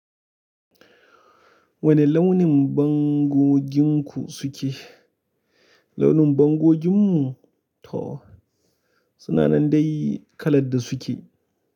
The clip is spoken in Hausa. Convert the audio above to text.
Wane launin bangoginku suke? Launin bangoginmu? To suna nan dai kalar da suke.